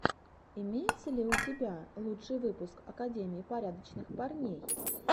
имеется ли у тебя лучший выпуск академии порядочных парней